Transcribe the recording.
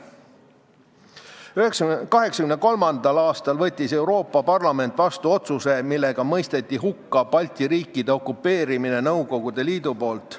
1983. aastal võttis Euroopa Parlament vastu otsuse, millega mõisteti hukka Balti riikide okupeerimine Nõukogude Liidu poolt.